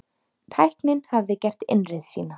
Tæknin hafði gert innreið sína.